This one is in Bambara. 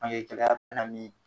Bange na min